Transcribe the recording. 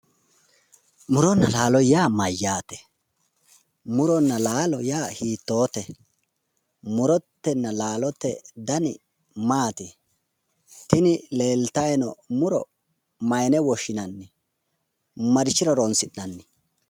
Muronna laalo yaa mayyaate? Muronna laalo yaa hiitoote? Murotenna laalote dani maati? tini leeltayi no muro maayiine woshshinanni? marichira hronsi'nanni?